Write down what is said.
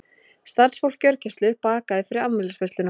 Starfsfólk gjörgæslu bakaði fyrir afmælisveisluna